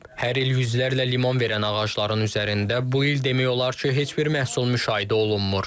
Hər il yüzlərlə limon verən ağacların üzərində bu il demək olar ki, heç bir məhsul müşahidə olunmur.